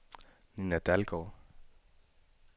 Nina Dalgaard